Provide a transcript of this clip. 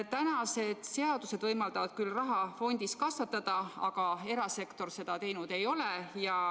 Tänased seadused võimaldavad küll raha fondis kasvatada, aga erasektor seda teinud ei ole.